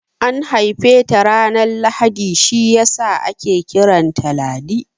An haife ta ranar Lahadi shiyasa ake kiranta Ladi